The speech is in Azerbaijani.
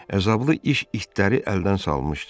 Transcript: Əzablı iş itləri əldən salmışdı.